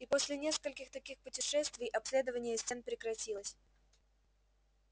и после нескольких таких путешествий обследование стен прекратилось